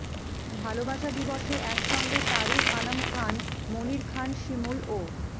ভালোবাসা দিবসে একসঙ্গে তারিক আনাম খান মনির খান শিমুল ও